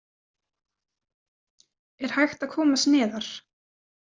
Er hægt að komast neðar?